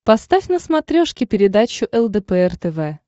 поставь на смотрешке передачу лдпр тв